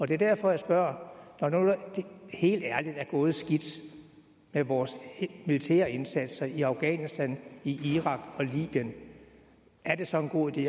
det er derfor jeg spørger når nu det helt ærligt er gået skidt med vores militære indsatser i afghanistan i irak og i libyen er det så en god idé